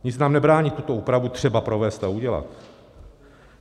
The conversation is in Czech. Nic nám nebrání tuto úpravu třeba provést a udělat.